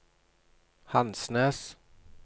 Hansnes